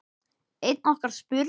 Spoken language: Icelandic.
Einn okkar spurði